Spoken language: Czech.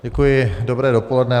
Děkuji, dobré dopoledne.